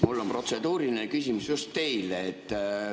Mul on protseduuriline küsimus just teile.